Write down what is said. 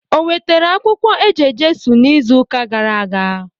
O wetara akwukwo eje-Jesu n'izu uka gara aga?